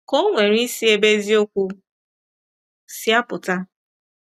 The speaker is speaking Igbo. Ka o nwere isi ebe eziokwu si apụta?